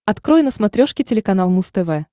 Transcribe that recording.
открой на смотрешке телеканал муз тв